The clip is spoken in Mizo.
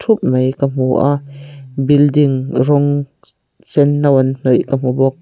ka hmu a building rawng senno an hnawih ka hmu bawk.